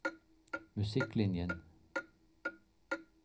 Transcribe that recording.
musikklinjen